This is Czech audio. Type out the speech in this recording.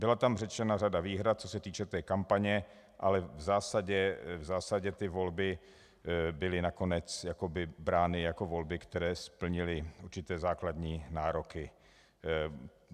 Byla tam řečena řada výhrad, co se týče té kampaně, ale v zásadě ty volby byly nakonec brány jako volby, které splnily určité základní nároky.